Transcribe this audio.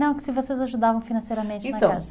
Não, que se vocês ajudavam financeiramente na casa. Então